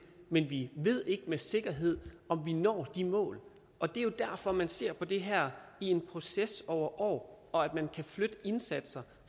men vi ved ikke med sikkerhed om vi når de mål og det er jo derfor man ser på det her i en proces over år og at man kan flytte indsatser